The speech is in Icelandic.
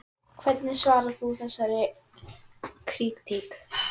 Hvernig svarar þú þessari krítík?